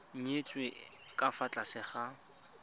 nyetswe ka fa tlase ga